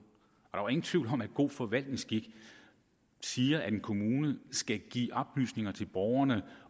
og ingen tvivl om at god forvaltningsskik siger at en kommune skal give oplysning til borgerne